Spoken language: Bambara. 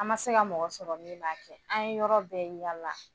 An ma se ka mɔgɔ sɔrɔ min b'a kɛ, an ye yɔrɔ bɛɛ yaala!